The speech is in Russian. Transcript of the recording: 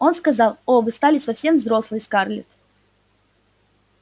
он сказал о вы стали совсем взрослой скарлетт